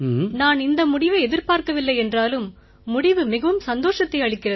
நான் இந்த முடிவை எதிர்பார்க்கவில்லை என்றாலும் முடிவு மிகவும் சந்தோஷத்தை அளிக்கிறது